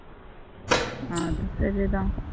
ஆஹ் அது சரி தான்